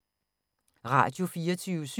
Radio24syv